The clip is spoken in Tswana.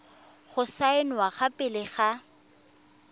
go saenwa fa pele ga